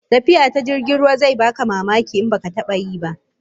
Tafiya ta jirgin ruwa zai baka mamaki in baka taba yi ba